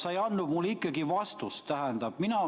Sa ei andnud mulle ikkagi vastust.